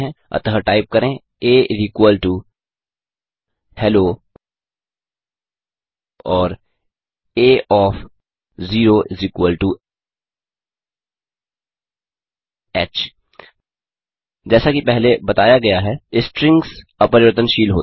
अतः टाइप करें आ हेलो और आ ओएफ 0 ह जैसा कि पहले बताया गया है स्ट्रिंग्स अपरिवर्तनशील होती हैं